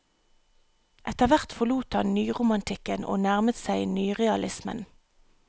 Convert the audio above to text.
Etterhvert forlot han nyromantikken, og nærmet seg nyrealismen.